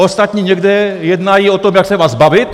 Ostatní někde jednají o tom, jak se vás zbavit.